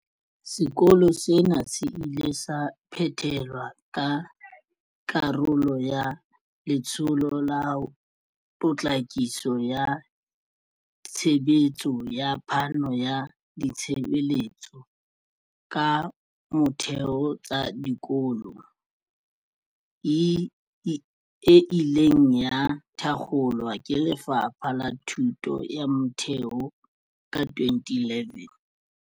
Sekolo sena se ile sa phethelwa ka karolo ya Letsholo la Potlakiso ya Tshebetso ya Phano ya Ditshebeletso tsa Motheo tsa Dikolo ASIDI, e ileng ya thakgolwa ke Lefapha la Thuto ya Motheo ka 2011.